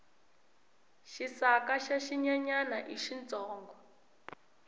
xisaka xa xinyenyani i xintsongo